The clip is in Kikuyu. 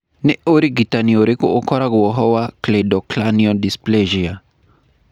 Nĩ ũrigitani ũrĩkũ ũkoragwo ho wa cleidocranial dysplasia?